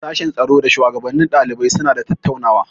Sashen tsaro da shuwagabannin ɗalibai suna da tattaunawa.